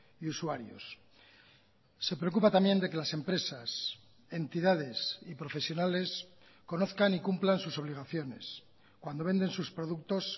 y usuarios se preocupa también de que las empresas entidades y profesionales conozcan y cumplan sus obligaciones cuando venden sus productos